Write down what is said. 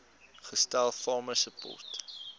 gestel farmer support